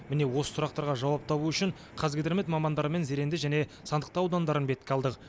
міне осы сұрақтарға жауап табу үшін қазгидромет мамандарымен зеренді және сандықтау аудандарын бетке алдық